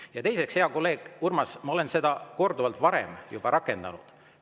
Ja teiseks, hea kolleeg Urmas, ma olen seda korduvalt varem juba rakendanud.